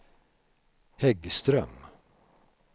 Häggström